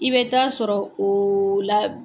I bɛ taa sɔrɔ la.